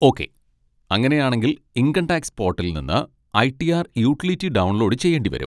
Okay, അങ്ങനെയാണെങ്കിൽ income tax പോട്ടലിൽ നിന്ന് I. T. R utility download ചെയ്യേണ്ടിവരും.